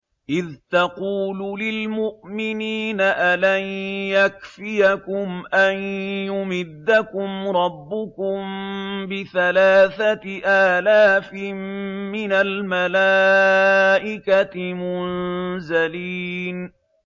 إِذْ تَقُولُ لِلْمُؤْمِنِينَ أَلَن يَكْفِيَكُمْ أَن يُمِدَّكُمْ رَبُّكُم بِثَلَاثَةِ آلَافٍ مِّنَ الْمَلَائِكَةِ مُنزَلِينَ